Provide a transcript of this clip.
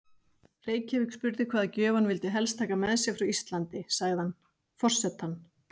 Reykjavík spurði hvaða gjöf hann vildi helst taka með sér frá Íslandi, sagði hann: Forsetann